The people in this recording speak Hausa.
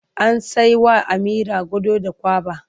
An sai wa Amira gado da kwaba.